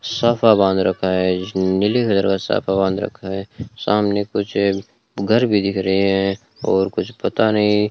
साफा बांध रखा है नीले कलर का साफा बांध रखा है सामने कुछ घर भी दिख रहे हैं और कुछ पता नहीं --